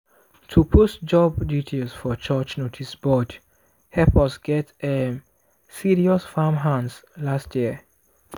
to post job details for church noticeboard help us get um serious farmhands last year.